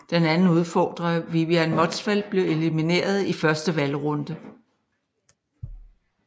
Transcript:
Den anden udfordrer Vivian Motzfeldt blev elimineret i første valgrunde